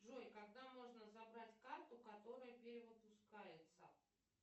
джой когда можно забрать карту которая перевыпускается